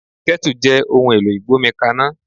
Kẹ́tù jẹ́ ohun èlò ìgbómi kaná.